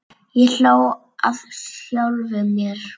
Ég hló að sjálfum mér.